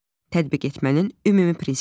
Tətbiq etmənin ümumi prinsipləri.